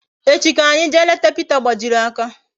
Echi ka anyi jee leta Pita gbajiri aka